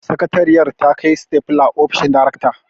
Sakatariyar ta kai sitafula ofishin darekta